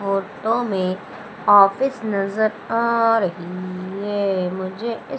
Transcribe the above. photo में office नजर आ रही है मुझे इस--